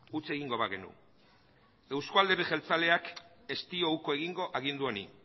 utz egingo bagenu euzko alderdi jeltzaleak ez dio uko egingo agindu honi